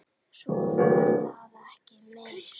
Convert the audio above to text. Svo var það ekki meir.